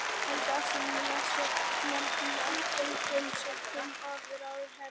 Helga Arnardóttir: Vissi nefndin af tengslum stúlkunnar við ráðherrann?